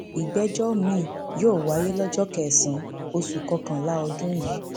ìgbẹjọ miín yóò wáyé lọjọ kẹsànán oṣù kọkànlá ọdún yìí